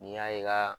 N'i y'a ye ka